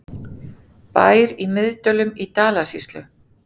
Bær í Miðdölum í Dalasýslu.